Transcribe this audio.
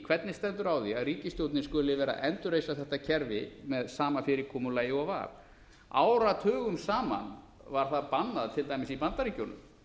hvernig stendur á því að ríkisstjórnin skuli vera að endurreisa þetta kerfi með sama fyrirkomulagi og var áratugum saman var það bannað til dæmis í bandaríkjunum